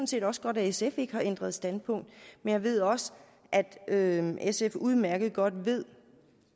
set også godt at sf ikke har ændret standpunkt men jeg ved også at at sf udmærket godt ved